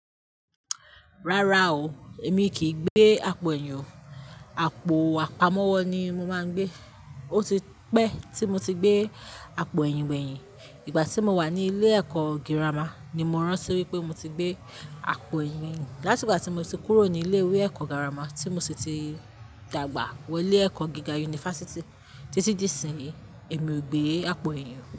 Rárá o, èmi kìí gbé àpò ẹ̀yìn o. Àpò àpamọ́wọ́ ni mo máa ń gbé. Ó ti pẹ́ tí mo ti gbé àpò ẹ̀yìn gbẹ̀yìn. Ìgbà tí mo wà ní ilé ẹ̀kọ́ girama ni mo rántí wípé mo ti gbé àpò ẹ̀yìn. Látìgbà tí mo ti kúrò ní ilé ìwé ẹ̀kọ́ girama tí mo sì ti dàgbà wọ ilé ẹ̀kọ́ gíga yunifásítì títí di ìsinyìí, èmi ò gbé àpò ẹ̀yìn o.